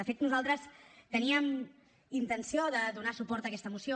de fet nosaltres teníem intenció de donar suport a aquesta moció